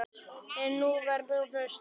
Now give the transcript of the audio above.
En nú var nánast þögn!